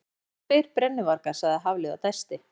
Sem sagt, tveir brennuvargar sagði Hafliði og dæsti.